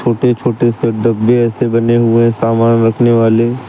छोटे छोटे से डब्बे ऐसे बने हुए हैं सामान रखने वाले।